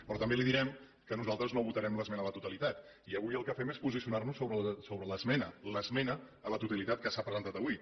però també li direm que nosaltres no votarem l’esmena a la totalitat i avui el que fem és posicionar nos sobre l’esmena l’esmena a la totalitat que s’ha presentat avui